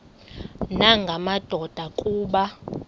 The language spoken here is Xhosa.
nanga madoda kuba